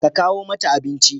Ka kawo mata abinci.